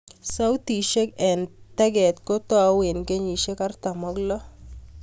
Sautishek eng' tag'et kotau eng' kenyishek artam ak loo